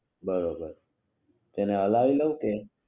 બરોબર તેને હલાવી લવ કે